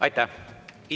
Aitäh!